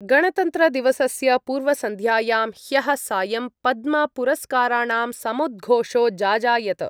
गणतन्त्रदिवसस्य पूर्वसन्ध्यायां ह्यः सायं पद्मपुरस्काराणां समुद्घोषो जाजायत।